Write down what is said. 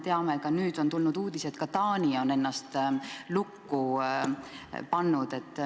Sest me teame – nüüd on tulnud uudis –, et ka Taani on ennast lukku pannud.